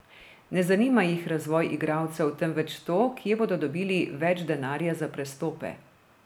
Ne zanima jih razvoj igralcev, temveč to, kje bodo dobili več denarja za prestope.